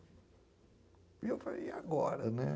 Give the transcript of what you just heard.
E eu falei, e agora, né?